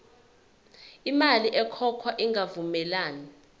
imali ekhokhwayo ingavumelani